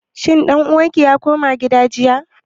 Shin ɗan uwan ki ya koma gida jiya?